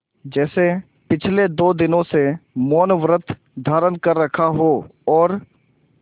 जैसे पिछले दो दिनों से मौनव्रत धारण कर रखा हो और